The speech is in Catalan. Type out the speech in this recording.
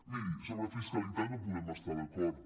miri sobre fiscalitat no hi podem estar d’acord